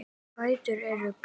Fætur eru gráir.